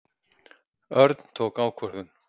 Örn tók ákvörðun.